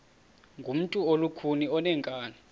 ngumntu olukhuni oneenkani